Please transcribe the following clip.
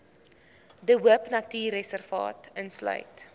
de hoopnatuurreservaat insluit